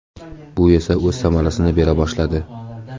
Bu esa o‘z samarasini bera boshladi.